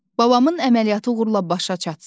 Babamın əməliyyatı uğurla başa çatsın.